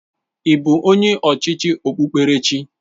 Ị bụ onye ọchịchị okpukperechi?